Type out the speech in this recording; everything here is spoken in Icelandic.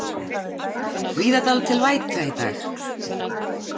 Víða dálítil væta í dag